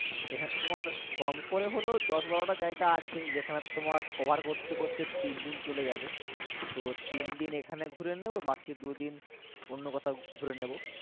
এখানে তোমার কমকরে হলে দশ, বারো, টা আছে যেখানে তোমার cover করতে করতে চলে যাবে তো তিন। দিন এখানে ঘুরে নিবো তো বাকি দু, দিন অন্য কোথাও ঘুরে নিবো।